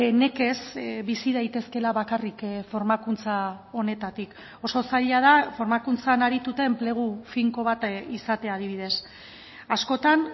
nekez bizi daitezkeela bakarrik formakuntza honetatik oso zaila da formakuntzan arituta enplegu finko bat izatea adibidez askotan